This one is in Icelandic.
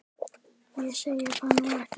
Ég segi það nú ekki.